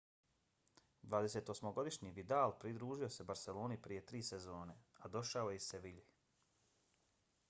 28-godišnji vidal pridružio se barseloni prije tri sezone a došao je iz sevilje